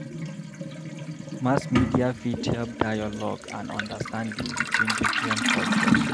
Mass media fit help dialogue and understanding between different cultures.